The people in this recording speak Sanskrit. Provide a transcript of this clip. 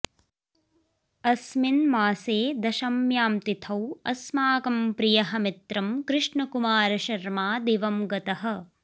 अस्मिन् मासे दशम्यां तिथौ अस्माकं प्रियः मित्रं कृष्णकुमारशर्मा दिवं गतः